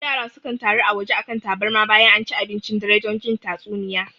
Yara sukan taru a waje a kan tabarma bayan anci abincin dare don jin tatsuniya